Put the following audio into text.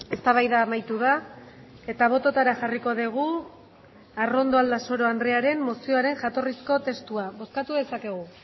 eztabaida amaitu da eta bototara jarriko dugu arrondo aldasoro andrearen mozioaren jatorrizko testua bozkatu dezakegu